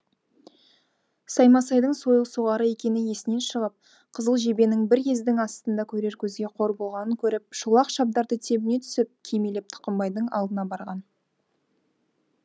саймасайдың сойыл соғары екені есінен шығып қызыл жебенің бір ездің астында көрер көзге қор болғанын көріп шолақ шабдарды тебіне түсіп кимелеп тұқымбайдың алдына барған